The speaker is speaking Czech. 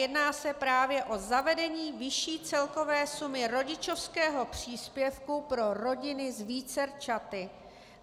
Jedná se právě o zavedení vyšší celkové sumy rodičovského příspěvku pro rodiny s vícerčaty.